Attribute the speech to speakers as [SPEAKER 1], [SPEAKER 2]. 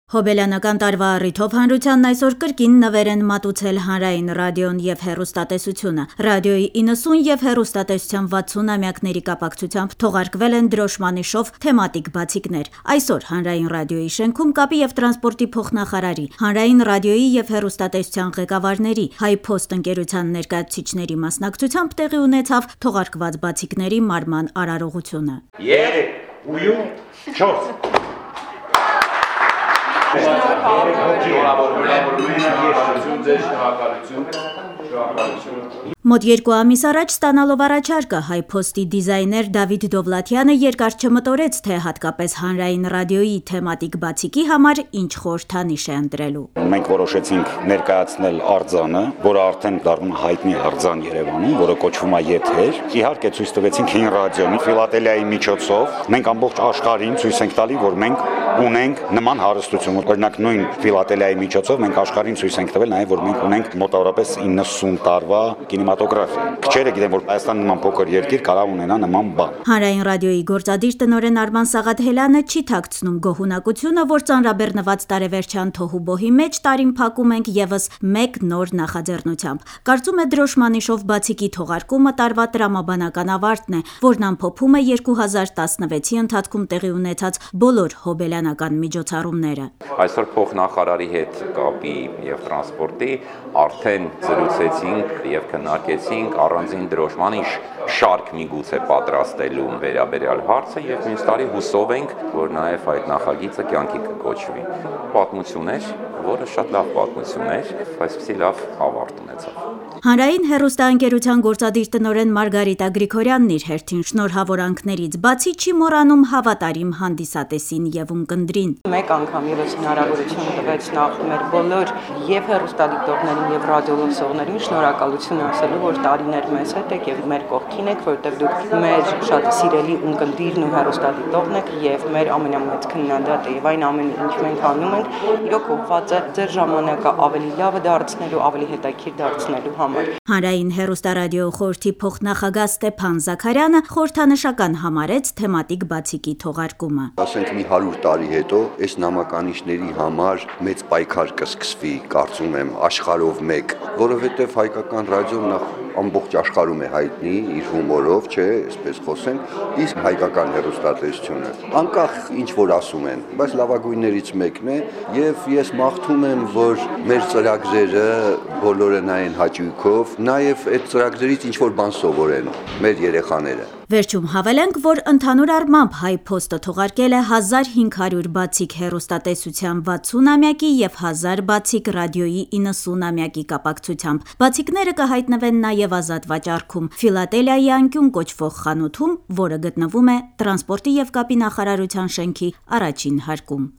[SPEAKER 1] Հոբելյանական տարվա առիթով հանրությանն այսօր կրկին նվեր են մատուցել Հանրային ռադիոն եւ հեռուստատեսությունը: Ռադիոյի 90 եւ հեռուստատեսության 60 ամյակների կապակցությամբ թողարկվել են դրոշմանիշով թեմատիկ բացիկներ: Այսօր Հանրային ռադիոյի շենքում կապի եւ տրանսպորտի փոխնախարարի, Հանրային ռադիոյի եւ հեռուստատեսության ղեկավարների, «Հայփոստ» ընկերության ներկայացուցիչների մասնակցությամբ տեղի ունեցավ թողարկված բացիկների մարման արարողությունը: Մոտ երկու ամիս առաջ ստանալով առաջարկը՝ «Հայփոտի» դիզայներ Դավիթ Դովլաթյանը երկար չմտորեց, թե հատկապես Հանրային ռադիոյի թեմատիկ բացիկի համար ինչ խորհրդանիշ է ընտրելու:
[SPEAKER 2] «Մենք որոշեցինք ներկայացնել արձանը, որն արդեն Երեւանում հայտնի է դառնում եւ կոչվում է «Եթեր»։ Իհարկե, ցույց տվեցինք հին ռադիոընդունիչը նաեւ: Ֆիլատելիայի միջոցով մենք ամբողջ աշխարհին ցույց ենք տալիս, որ մենք ունենք նման հարստություն: Օրինակ՝ նույն ֆիլատելիայի միջոցով մենք աշխարհին ցույց ենք տվել նաեւ, որ ունենք մոտավորապես 90 տարվա կինեմատոգրաֆիա: Քչերը գիտեն, որ Հայաստանի նման փոքր երկիրը կարող է ունենալ նման բան»:
[SPEAKER 1] Հանրային ռադիոյի գործադիր տնօրեն Արման Սաղաթելյանը չի թաքցնում գոհունակությունը, որ ծանրաբեռնված տարեվերջյան թոհուբոհի մեջ տարին փակում ենք եւս մեկ նոր նախաձեռնությամբ: Կարծում է՝ դրոշմանիշով բացիկի թողարկումը տարվա տրամաբանական ավարտն է, որն ամփոփում է 2016- ի ընթացքում տեղի ունեցած բոլոր հոբելյանական միջոցառումները:
[SPEAKER 2] «Կապի եւ տրանսպորտի փոխնախարարի հետ այսօր արդեն զրուցեցինք եւ քննարկեցինք առանձին դրոշմանիշի շարք պատրաստելու հարցը եւ մյուս տարի, հուսով ենք, որ այդ նախագիծը նաեւ կյանքի կկոչվի»:
[SPEAKER 1] Հանրային հեռուստաընկերության գործադիր տնօրեն Մարգարիտա Գրիգորյանն իր հերթին շնորհավորանքներից բացի չի մոռանում հավատարիմ հանդիսատեսին եւ ունկնդրին: «Մենք անգամ եւս հնարավորություն ունենք եւ հեռուստադիտողների, եւ ռադիոլսողներին
[SPEAKER 3] շնորհակալություն ասելու, որ տարիներ մեզ հետ եք եւ մեր կողքին եք, որովհետեւ դուք մեր շատ սիրելի ունկնդիրն ու հեռուստադիտողն եք եւ մեր ամենամեծ քննադատը: Այն ամենը, ինչ մենք անում ենք իրոք ուղղված է ձեր ժամանակը ավելի լավ, ավելի հետաքրքիր դարձնելու համար»:
[SPEAKER 1] Հանրային հեռուստառադիոխորհրդի փոխնախագահ Ստեփան Զաքարյանը խորհրդանշական համարեց թեմատիկ բացիկի թողարկումը:
[SPEAKER 3] «Կարծում եմ՝ մի 100 տարի հետո այս նամականիշների համար մեծ պայքար կսկսվի աշխարհով մեկ, որովհետեւ հայկական ռադիոն ամբողջ աշխարհում նախ հայտնի է իր հումորով: Իսկ հայկական հեռուստատեսությունը, անկախ նրանից, թե ինչ որ ասում են, լավագույններից մեկն է: Ես մաղթում եմ, որ մեր ծրագրերը բոլորը նայեն հաճույքով, նաեւ այդ ծրագրերից ինչ որ բան սովորեն մեր երեխաները»:
[SPEAKER 1] Վերջում հավելենք, որ ընդհանուր առմամբ «Հայփոստը» թողարկել է 1500 բացիկ հեռուստատեսության 60 ամյակի եւ 1000 բացիկ ռադիոյի 90 ամյակի կապակցությամբ: Բացիկները կհայտնվեն նաեւ ազատ վաճառքում՝ «Ֆիլատելիայի անկյուն» կոչվող խանութում, որը գտնվում է տրանսպորտի եւ կապի նախարարության շենքի առաջին հարկում: